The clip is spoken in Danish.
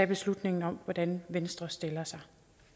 beslutningen om hvordan venstre stiller sig